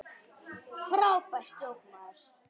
Frábært djók, maður!